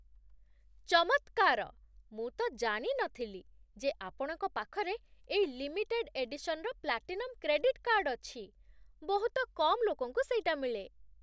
ଚମତ୍କାର! ମୁଁ ତ ଜାଣି ନଥିଲି ଯେ ଆପଣଙ୍କ ପାଖରେ ଏଇ ଲିମିଟେଡ଼ ଏଡିସନର ପ୍ଲାଟିନମ୍ କ୍ରେଡିଟ୍ କାର୍ଡ଼୍ ଅଛି । ବହୁତ କମ୍ ଲୋକଙ୍କୁ ସେଇଟା ମିଳେ ।